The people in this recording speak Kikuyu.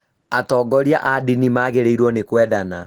atongoria a ndini magĩrĩirũo nĩ kwendana